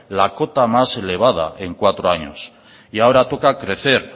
la cota más elevada en cuatro años ahora toca crecer